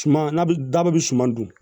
Suma na da bɛ suma dun